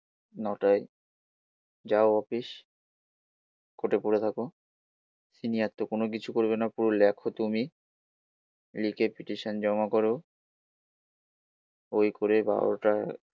নটাই যাও অফিস কোর্টে পড়ে থাকো সিনিয়র তো কোন কিছু করবে না পুরো লেখ তুমি লিখে পিটিশন জমা করো ওই করে বারোটা